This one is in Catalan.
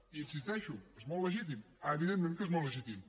i hi insisteixo és molt legítim evidentment que és molt legítim